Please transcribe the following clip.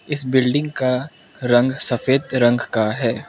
इस बिल्डिंग का रंग सफेद रंग का है।